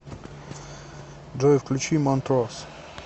джой включи монтрос